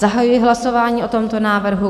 Zahajuji hlasování o tomto návrhu.